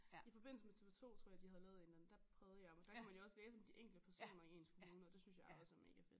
I forbindelse med TV2 tror jeg de havde lavet en eller anden der prøvede jeg men der kunne man jo også læse om de enkelte personer i ens kommune og det synes jeg også er mega fedt